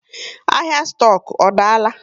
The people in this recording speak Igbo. Ahịa stoku ọ daala?